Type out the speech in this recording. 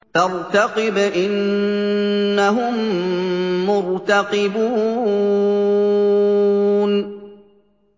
فَارْتَقِبْ إِنَّهُم مُّرْتَقِبُونَ